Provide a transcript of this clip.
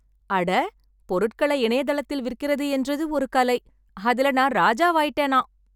அட ! பொருட்களை இணையதளத்தில் விற்கிறது என்றது ஒரு கலை. அதுல நான் ராஜாவாயிட்டேனாம்.